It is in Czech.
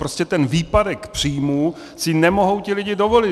Prostě ten výpadek příjmů si nemohou ti lidé dovolit.